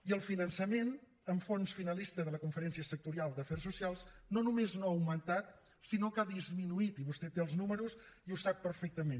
i el finançament amb fons finalista de la conferència sectorial d’afers socials no només no ha augmentat sinó que ha disminuït i vostè té els números i ho sap perfectament